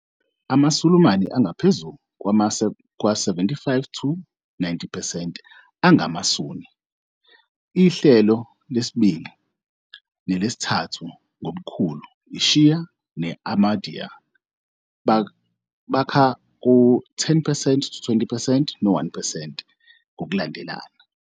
AmaSulumane angaphezu kwama-75-90 percent angamaSunni. Ihlelo lesibili nelesithathu ngobukhulu, iShia ne- Ahmadiyya, bakha u-10-20 percent, no-1 percent ngokulandelana.